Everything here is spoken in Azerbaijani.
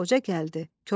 Qoca gəldi.